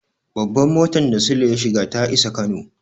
Babban mutar da Sule ya shiga ta isa Kano.